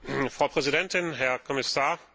Frau Präsidentin, Herr Kommissar!